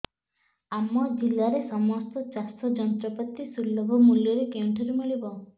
ଆମ ଜିଲ୍ଲାରେ ସମସ୍ତ ଚାଷ ଯନ୍ତ୍ରପାତି ସୁଲଭ ମୁଲ୍ଯରେ କେଉଁଠାରୁ ମିଳିବ